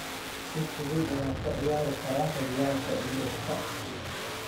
“Si fudud ayaan uga ciyaari karaa horyalka yurubka.